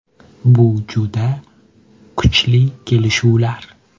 Bu juda kuchli kelishuvlar.